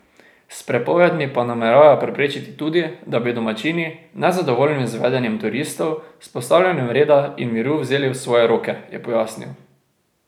S prepovedmi pa nameravajo preprečiti tudi, da bi domačini, nezadovoljni z vedenjem turistov, vzpostavljanje reda in miru vzeli v svoje roke, je pojasnil.